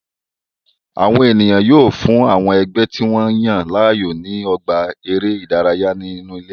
Àwọn ènìyàn yọ̀ fún àwọn ẹgbẹ́ tí wọ́n yàn láàyò ní ọgbà eré ìdárayá inú ilé